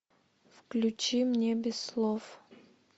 включи мне без слов